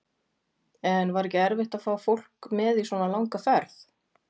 En var ekki erfitt að fá fólk með í svona langa ferð?